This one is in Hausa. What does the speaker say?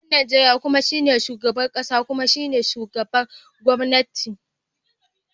Shugaban Najeriya kuma shine shugaban kasa kuma shugaban gwamnati.